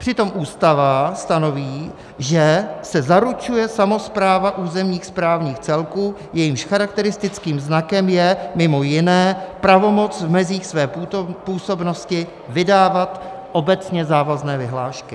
Přitom Ústava stanoví, že se zaručuje samospráva územních správních celků, jejichž charakteristickým znakem je mimo jiné pravomoc v mezích své působnosti vydávat obecně závazné vyhlášky.